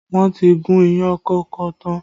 Wọn ti gún iyán kókò tán